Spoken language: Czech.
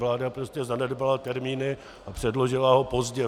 Vláda prostě zanedbala termíny a předložila ho pozdě.